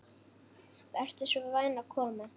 Vertu svo vænn að koma.